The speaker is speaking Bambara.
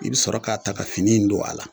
I bɛ sɔrɔ k'a ta ka fini in don a la